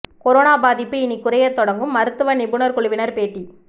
corona பாதிப்பு இனி குறையத் தொடங்கும் மருத்துவ நிபுணர் குழுவினர் பேட்டி